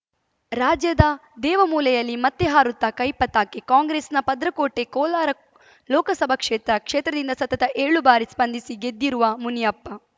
ರಾಜ್ಯದ ದೇವಮೂಲೆಯಲ್ಲಿ ಮತ್ತೆ ಹಾರುತ್ತಾ ಕೈ ಪತಾಕೆ ಕಾಂಗ್ರೆಸ್‌ನ ಭದ್ರಕೋಟೆ ಕೋಲಾರ ಲೋಕಸಭಾ ಕ್ಷೇತ್ರ ಕ್ಷೇತ್ರದಿಂದ ಸತತ ಏಳು ಬಾರಿ ಸ್ಪಂದಿಸಿ ಗೆದ್ದಿರುವ ಮುನಿಯಪ್ಪ